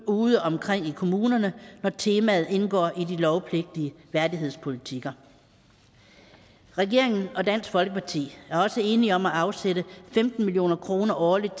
udeomkring i kommunerne når temaet indgår i de lovpligtige værdighedspolitikker regeringen og dansk folkeparti er også enige om at afsætte femten million kroner årligt